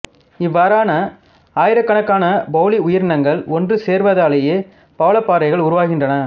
இவ்வாறான ஆயிரக்கணக்கான பொலிப் உயிரினங்கள் ஒன்று சேர்வதாலேயே பவளப்பாறைகள் உருவாகின்றன